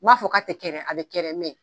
N m'a fɔ ka te kɛ dɛ a be kɛ dɛ mɛ